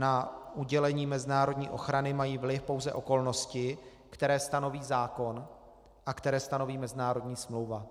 Na udělení mezinárodní ochrany mají vliv pouze okolnosti, které stanoví zákon a které stanoví mezinárodní smlouva.